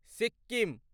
Sikkim